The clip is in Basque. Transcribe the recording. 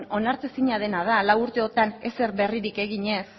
onartezina dena da lau urte hauetan ezer berririk egin ez